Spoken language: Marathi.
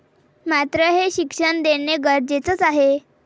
मात्र हे शिक्षण देणं गरजेचंच आहे.